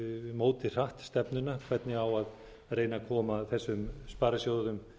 móti hratt stefnuna hvernig á að reyna að koma þessum sparisjóðum